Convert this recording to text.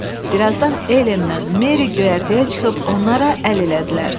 Birazdan Elenlə Meri göyərtəyə çıxıb onlara əl elədilər.